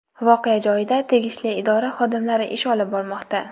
Voqea joyida tegishli idora xodimlari ish olib bormoqda.